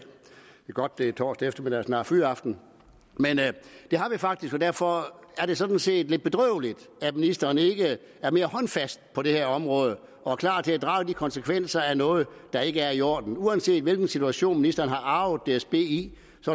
godt at det er torsdag eftermiddag og snart fyraften og derfor er det sådan set lidt bedrøveligt at ministeren ikke er mere håndfast på det her område og er klar til at drage konsekvenserne af noget der ikke er i orden uanset hvilken situation ministeren har arvet dsb i